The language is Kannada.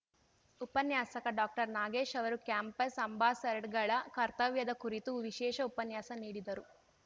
ಉಪನ್ಯಾಸಕ ಡಾಕ್ಟರ್ನಾಗೇಶ್‌ ಅವರು ಕ್ಯಾಂಪಸ್‌ ಅಂಬಾಸಡ್ಗಳ ಕರ್ತವ್ಯದ ಕುರಿತು ವಿಶೇಷ ಉಪನ್ಯಾಸ ನೀಡಿದರು